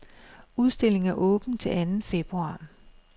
Udstillingen er åben til anden februar.